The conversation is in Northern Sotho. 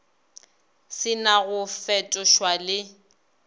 se na go fetošwa le